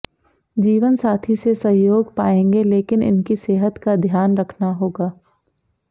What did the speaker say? जीवनसाथी से सहयोग पाएंगे लेकिन इनकी सेहत का ध्यान रखना होगा